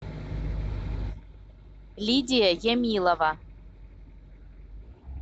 лидия ямилова